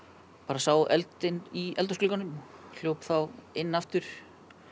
sá eldinn í eldhúsglugganum hljóp þá inn aftur